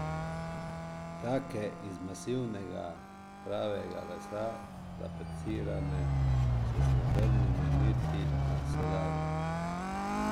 Take, iz masivnega, pravega lesa, tapecirane, s srebrnimi neti na sedalu ...